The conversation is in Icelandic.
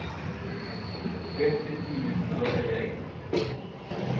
Rétti tíminn til að selja eignir